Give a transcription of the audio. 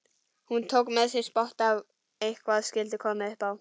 Hann tók með sér spotta ef eitthvað skyldi koma upp á.